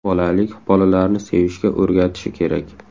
Bolalik bolalarni sevishga o‘rgatishi kerak.